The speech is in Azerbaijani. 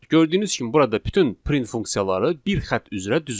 Gördüyünüz kimi burada bütün print funksiyaları bir xətt üzrə düzülüb.